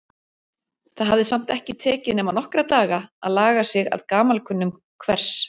Það hafði samt ekki tekið nema nokkra daga að laga sig að gamalkunnum hvers